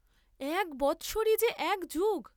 এক বৎসরই যে এক যুগ।